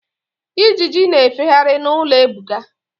Ijiji na-efegharị n'ụlọ Ebuka.